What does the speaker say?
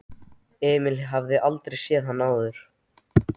Emil hafði aldrei séð hann áður.